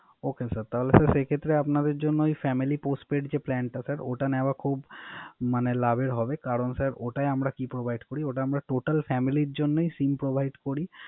ওকে sir. তাহলে sir সেক্ষেত্রে আপনাদের জন্য Family Postpaid যে Plan টা ওটা নেওয়ার খুব মানে লাভের হবে কারন ওটাই আমরা কি Provide করি। ওটা আমরা Total family র জন্যই SIM provide করি